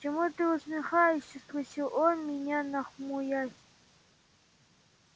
чему ты усмехаешься спросил он меня нахмурясь